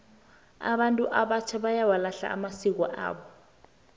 abantu abatjha bayawalahla amasiko wabo